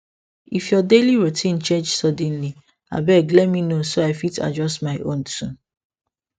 if your daily routine change suddenly abeg let me know so i fit adjust my own too